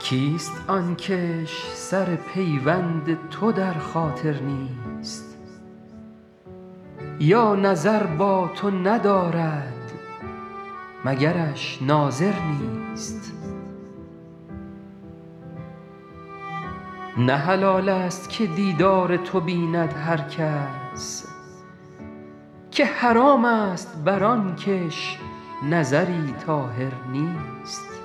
کیست آن کش سر پیوند تو در خاطر نیست یا نظر با تو ندارد مگرش ناظر نیست نه حلال ست که دیدار تو بیند هر کس که حرام ست بر آن کش نظری طاهر نیست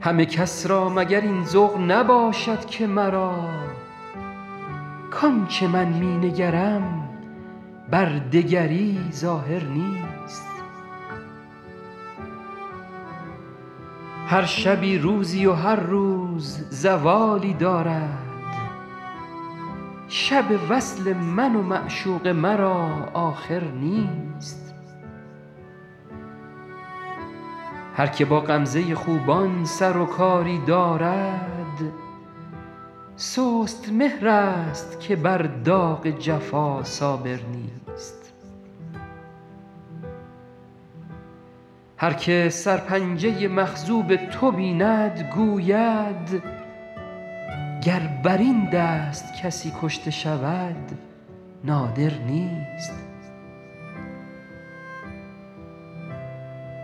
همه کس را مگر این ذوق نباشد که مرا کآن چه من می نگرم بر دگری ظاهر نیست هر شبی روزی و هر روز زوالی دارد شب وصل من و معشوق مرا آخر نیست هر که با غمزه خوبان سر و کاری دارد سست مهرست که بر داغ جفا صابر نیست هر که سرپنجه مخضوب تو بیند گوید گر بر این دست کسی کشته شود نادر نیست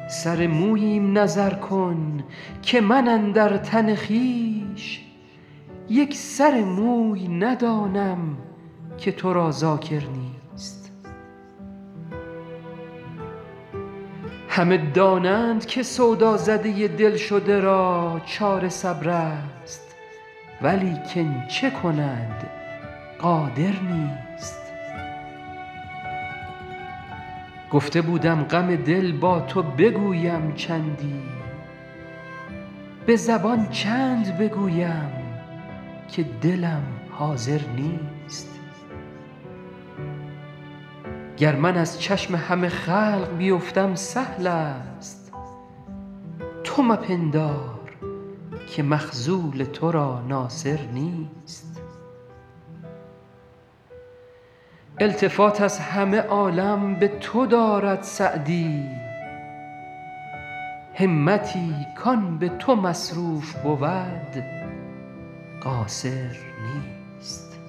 سر موییم نظر کن که من اندر تن خویش یک سر موی ندانم که تو را ذاکر نیست همه دانند که سودازده دل شده را چاره صبرست ولیکن چه کند قادر نیست گفته بودم غم دل با تو بگویم چندی به زبان چند بگویم که دلم حاضر نیست گر من از چشم همه خلق بیفتم سهل ست تو مپندار که مخذول تو را ناصر نیست التفات از همه عالم به تو دارد سعدی همتی کآن به تو مصروف بود قاصر نیست